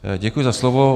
Děkuji za slovo.